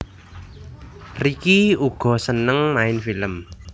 Ricky uga seneng main film